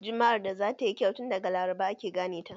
Jumma'ar da zatayi kyau tun daga laraba ake gane ta